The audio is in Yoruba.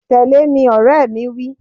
Tẹ̀lé mi, ọ̀rẹ́ mi wí